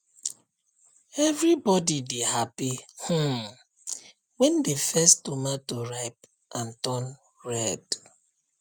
everybody dey happy um when the first tomato ripe and turn red